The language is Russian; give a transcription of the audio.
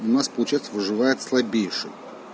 у нас получается выживает слабейший